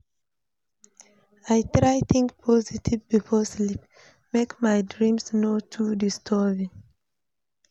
I try think positive before sleep, make my dreams no too disturbing.